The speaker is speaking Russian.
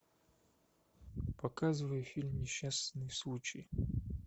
показывай фильм несчастный случай